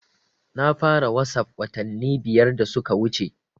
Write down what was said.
Na fara wasap watanni biyar da suka wuce